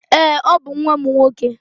Èé, ọ bụ nwa m nwoke.